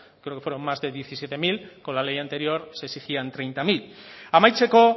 creo que fueron más de diecisiete mil con la ley anterior se exigían treinta mil amaitzeko